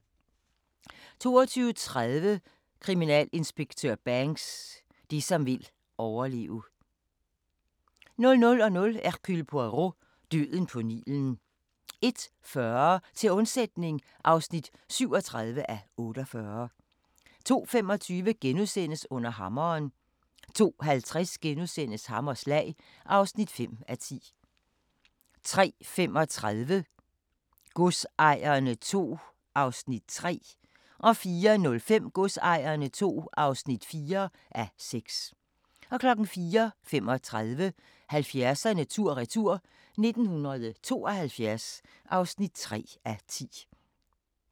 22:30: Kriminalinspektør Banks: Det som vil overleve 00:00: Hercule Poirot: Døden på Nilen 01:40: Til undsætning (37:48) 02:25: Under hammeren * 02:50: Hammerslag (5:10)* 03:35: Godsejerne II (3:6) 04:05: Godsejerne II (4:6) 04:35: 70'erne tur-retur: 1972 (3:10)